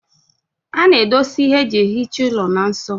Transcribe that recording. A na-edosa ihe eji ehicha olu na nso.